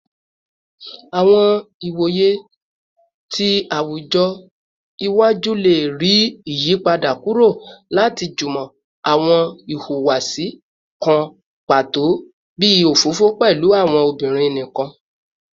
Awọn iwoye ti awujọ iwaju le rii iyipada kuro lati jimọ awọn ihuwasi kan pato bii ofofo pẹlu awọn obinrin nikan